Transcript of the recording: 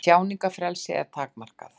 Tjáningarfrelsi er takmarkað